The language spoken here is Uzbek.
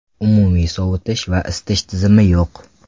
Umumiy sovutish va isitish tizimi yo‘q.